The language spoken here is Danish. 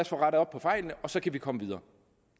få rettet op på fejlene så vi kan komme videre